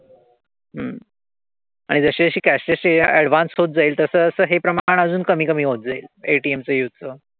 हम्म आणि जशी जशी cash advanced होत जाईल तसं तसं हे प्रमाण अजून कमी कमी होत जाईल. ATM च्या use चं.